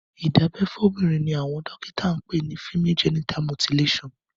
ìdábẹ́ fóbìnrin ni àwọn dọ́kíta ń pè ni Female genital mutilation.